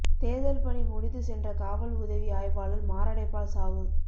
தோ்தல் பணி முடிந்து சென்ற காவல் உதவி ஆய்வாளா் மாரடைப்பால் சாவு